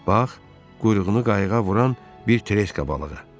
Bax, quyruğunu qayıqa vuran bir treska balığı.